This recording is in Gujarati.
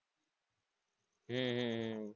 હમ